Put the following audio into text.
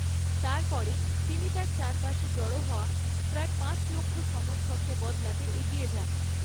তারপরে তিনি তার চারপাশে জড়ো হওয়া প্রায় পাঁচ লক্ষ্য সমর্থককে বদলাতে এগিয়ে যান।